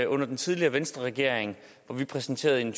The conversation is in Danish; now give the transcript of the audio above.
under den tidligere venstreregering hvor vi præsenterede en